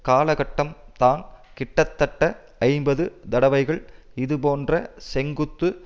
காலகட்டம்தான கிட்டத்தட்ட ஐம்பது தடவைகள் இதுபோன்ற செங்குத்து